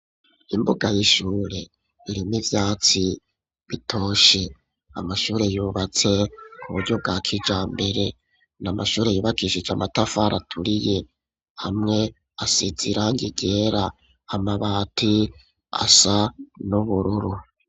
Imbuga y'ishure, irimwo ivyatsi bitoshe; amashure yubatse, ku buryo bwa kijambere, ni amashure yubakishije, amatafari aturiye, hamwe asize irangi ryera, amabati asa n'ubururu.